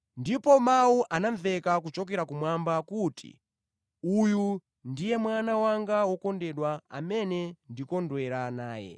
Ndipo mawu anamveka kuchokera kumwamba kuti, “Uyu ndiye mwana wanga wokondedwa amene ndikondwera naye.”